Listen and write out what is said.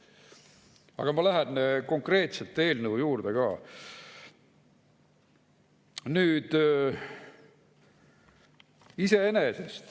Aga ma lähen konkreetselt eelnõu juurde.